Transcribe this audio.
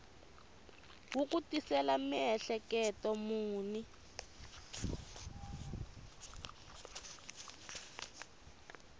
wu ku tisela miehleketo muni